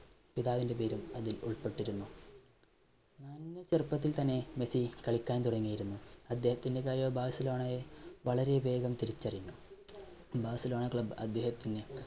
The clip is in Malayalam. പിതാവിന്റെ പേരും അതിൽ ഉൾപ്പെട്ടിരുന്നു. നന്നേ ചെറുപ്പത്തിൽ തന്നെ മെസ്സി കളിക്കാൻ തുടങ്ങിയിരുന്നു, അദ്ദേഹത്തിന്റെ കഴിവ് ബാഴ്സലോണയെ വളരെ വേഗം തിരിച്ചറിഞ്ഞു. ബാഴ്സലോണ club അദ്ദേഹത്തിന്